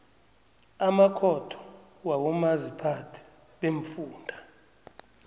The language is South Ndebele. amakhotho wabomaziphathe beemfunda